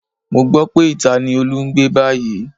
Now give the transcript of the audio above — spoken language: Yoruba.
Mo gbọ́ pé ìta ni Olú ń gbé báyìí